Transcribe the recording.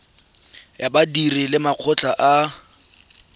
ya badiri le makgotla a